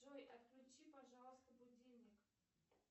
джой отключи пожалуйста будильник